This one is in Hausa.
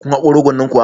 kun haƙo rogon nan kuwa